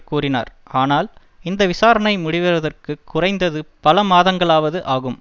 கூறினார் ஆனால் இந்த விசாரணை முடிவதற்கு குறைந்தது பல மாதங்களாவது ஆகும்